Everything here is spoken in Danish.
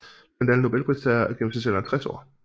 Blandt alle Nobelpristagere er gennemsnitsalderen 60 år